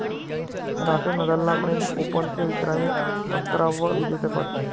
Rafale नदालला French ओपनचं विक्रमी अकरावं विजेतेपद